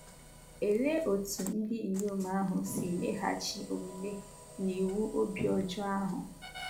Olee etú ndị inyom ahụ si meghachi omume n’iwu obi ọjọọ ahụ?